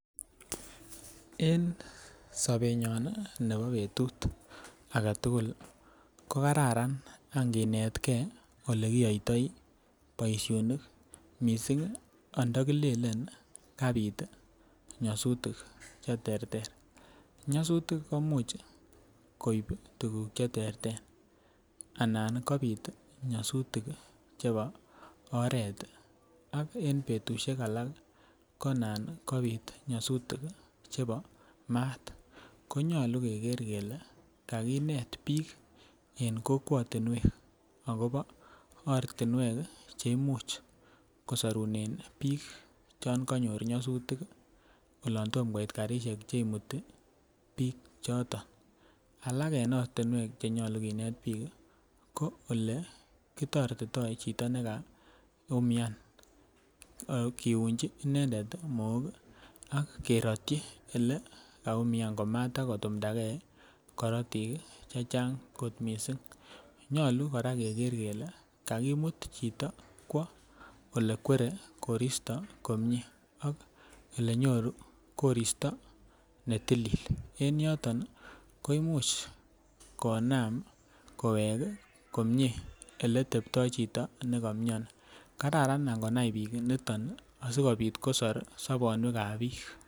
En sobenyon nii nebo betut agetukul ko kararan ankinetgee olekiyoito boishonik missing ando kilele kapit nyosutik cheterter. Nyosutik komuch koib tukuk cheterter ana kopit nyosutik chebo oret ak en betushek alak konan kopit nyosutik chebo mat konyolu Keker kele kakinet bik en kokwotunwek akobo ortinwek cheimuch kosorunen bik yon konyor nyosutik olon tom koit karishek chekimuti bik choton. Alak en ortinwek chenyolu kinet bik kii ko ole kitoretito chito nekaumia kiyonchi inendet Mook ak kerochi ole kaumia komata kotumdagee korotik chechang kot missing, nyolu koraa Keker kele kakimut chito kwo ole kwere koristo komie ak olenyoru koristo netilil, en yoton nii ko imuch Konam kowek kii komie oleteptoi chito nekomioni kararan angonai bik niton sikopit kosor sobonywekab bik.